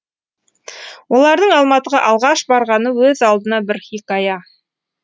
олардың алматыға алғаш барғаны өз алдына бір хикая